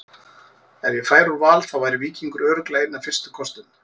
Ef ég færi úr Val þá væri Víkingur örugglega einn af fyrstu kostum.